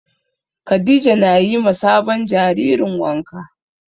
Khadija na yi ma sabon jaririn wanka